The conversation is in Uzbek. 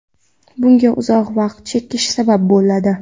Bunga uzoq vaqt chekish sabab bo‘ladi.